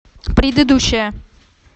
предыдущая